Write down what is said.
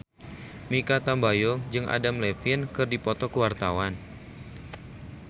Mikha Tambayong jeung Adam Levine keur dipoto ku wartawan